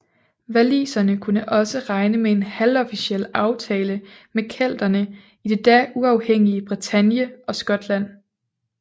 Waliserne kunne også regne med en halvofficiel aftale med kelterne i det da uafhængige Bretagne og Skotland